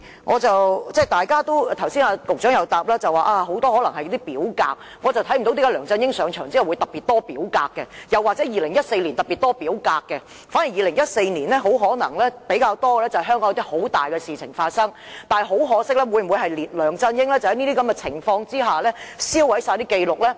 司長剛才答覆時說當中可能很多是表格，但我看不到為何梁振英上場後會特別多表格，又或是2014年特別多表格，反而在2014年比較多的可能是香港發生了一些十分重大的事情，而梁振英會否在這些情況下銷毀全部紀錄呢？